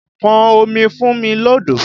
Pọn omi fún mi lọ́dọ̀!